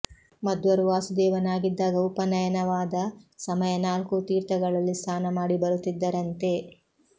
ಮಧ್ವರು ವಾಸುದೇವನಾಗಿದ್ದಾಗ ಉಪನಯ ನವಾದ ಸಮಯ ನಾಲ್ಕೂ ತೀರ್ಥಗಳಲ್ಲಿ ಸ್ನಾನ ಮಾಡಿ ಬರುತ್ತಿದ್ದರಂತೆ